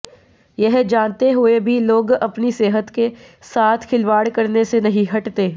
यह जानते हुए भी लोग अपनी सेहत के याथ खिलवाड़ करने से नहीं हटते